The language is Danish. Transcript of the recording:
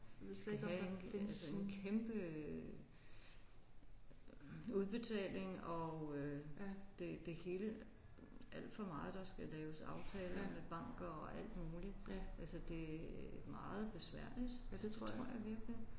Det havde en altså en kæmpe udbetaling og øh det det hele alt for meget der skal laves aftaler men bank og alt muligt altså det er meget besværligt det tror jeg virkelig